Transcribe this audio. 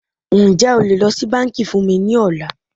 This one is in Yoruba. Ǹjẹ́ o lè lọ sí bánkì fún mí ní ọ̀la?